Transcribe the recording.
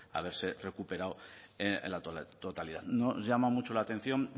haberse recuperado en la totalidad nos llama mucho la atención